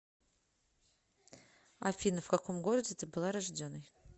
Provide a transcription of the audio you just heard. афина в каком городе ты была рожденой